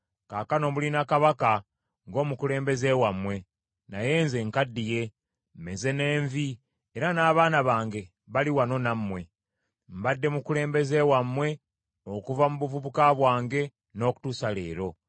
Kaakano mulina kabaka ng’omukulembeze wammwe. Naye nze nkaddiye, mmeze n’envi, era n’abaana bange bali wano nammwe. Mbadde mukulembeze wammwe okuva mu buvubuka bwange n’okutuusa leero.